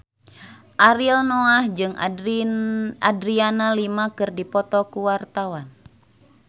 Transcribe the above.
Ariel Noah jeung Adriana Lima keur dipoto ku wartawan